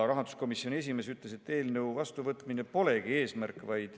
Rahanduskomisjoni esimees ütles, et eelnõu vastuvõtmine polegi eesmärk.